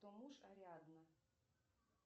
кто муж ариадны